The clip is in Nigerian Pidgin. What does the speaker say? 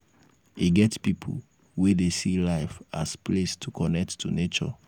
e get pipo wey dey see life as place to connect to nature